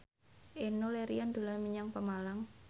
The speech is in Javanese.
Enno Lerian dolan menyang Pemalang